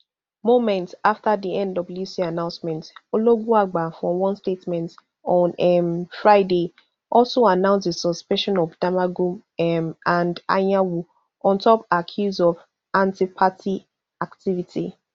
moments afta di nwc announcement ologunagba for one statement on um friday also announce di suspension of damagum um and anyanwu on top accuse of antiparty activity